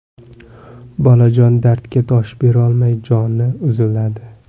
Bolajon dardga dosh berolmay joni uziladi.